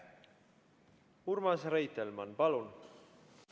Urmas Reitelmann, palun!